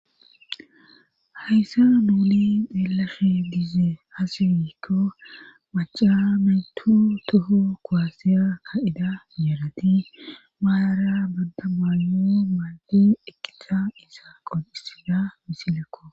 hayssa nuuli deelashe diize hasifiikko maca meytu toho kowasiya ka7ida yeerati maayara banda mayo maadu ekicsha isa qodhisida misilekko